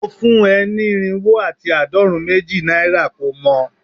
Mo fun e ni irinwo ati aadorun meji naira ko mo